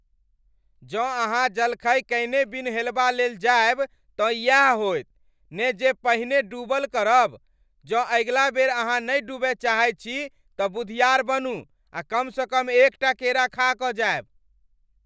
जँ अहाँ जलखै कयने बिनु हेलबा लेल जायब तँ इयैह होयत ने जे पानिमे डूबल करब। जँ अगिला बेर अहाँ नहि डूबय चाहैत छी तँ बुधियार बनू आ कमसँ कम एकटा केरा खा कऽ जायब।